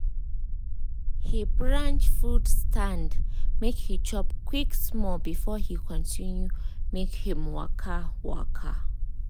he branch food stand make he chop quick small before he continue him waka. waka.